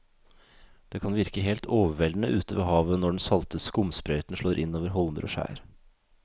Det kan virke helt overveldende ute ved havet når den salte skumsprøyten slår innover holmer og skjær.